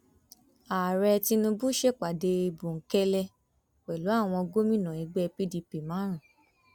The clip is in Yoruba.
ààrẹ tinubu ṣèpàdé bòńkẹlẹ pẹlú àwọn gómìnà ẹgbẹ pdp márùn